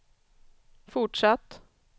fortsatt